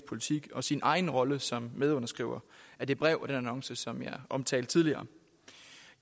politik og sin egen rolle som medunderskriver af det brev og den annonce som jeg omtalte tidligere